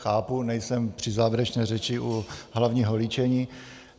Chápu, nejsem při závěrečné řeči u hlavního líčení.